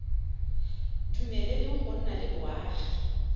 dumeleleng go nna le boagi